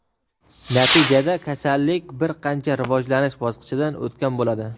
natijada kasallik bir qancha rivojlanish bosqichidan o‘tgan bo‘ladi.